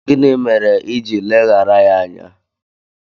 Gịnị mere iji ileghara ya anya?